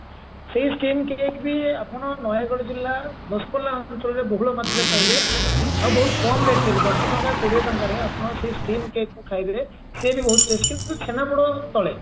ସେଇ steam cake ବି ଆପଣ ନୟାଗଡ ଜିଲ୍ଲା ଦଶପଲ୍ଲା ଅଞ୍ଚଳରେ ବହୁଳ ମାତ୍ରାରେ ପାଇବେ ଆଉ ବହୁତ କମ rate ରେ ବି ଦଶ ଟଙ୍କା କୋଡିଏ ଟଙ୍କାରେ ଆପଣ ସେଇ steam cake କୁ ଖାଇବେ cake ବହୁତ taste କିନ୍ତୁ ଛେନାପୋଡ ତଳେ